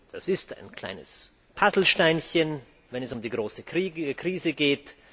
Das ist ein kleines Puzzlesteinchen, wenn es um die große Krise geht.